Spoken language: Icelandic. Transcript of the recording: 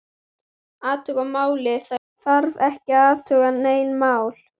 Athuga málið, það þarf ekki að athuga nein mál